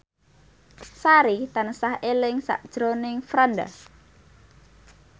Sari tansah eling sakjroning Franda